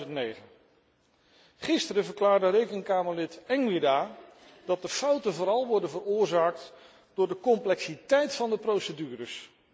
2009. Gisteren verklaarde Rekenkamerlid Engwirda dat de fouten vooral worden veroorzaakt door de complexiteit van de procedures.